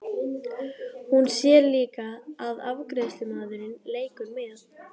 Hún sér líka að afgreiðslumaðurinn leikur með.